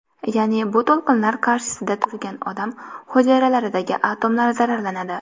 Ya’ni bu to‘lqinlar qarshisida turgan odam hujayralaridagi atomlar zararlanadi.